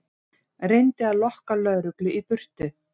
Reyndi að lokka lögreglu í burtu